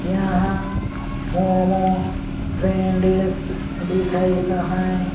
यहाँ मोमो फ्रेन्डिस लिखईस अहाय।